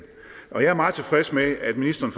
og jeg er meget tilfreds med at ministeren